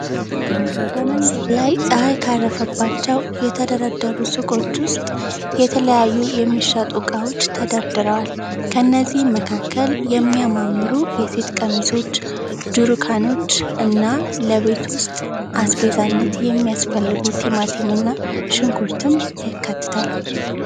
በመንገድ ላይ ጸሃይ ካረፈባቸው የተደረደሩ ሱቆች ዉስጥ የተለያዩ የሚሸጡ እቃዎች ተደርድረዋል። ከእነዚህም መካከል የሚያማምሩ የሴት ቀሚሶች፣ ጄሩካኖች እና ለቤት ዉስጥ አስቤዛነት የሚያስፈልጉ ቲማቲም እና ሽንኩርትም ይካተታል።